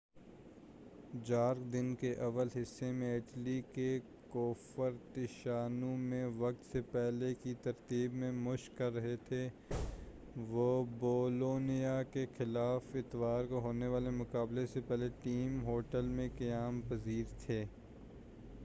جارق دن کے اول حصے میں اٹلی کے کوفرتشیانو میں وقت سے پہلے کی تربیت میں مشق کر رہے تھے وہ بولونیا کے خلاف اتوار کو ہونے والے مقابلے سے پہلے ٹیم ہوٹل میں قیام پذیر تھے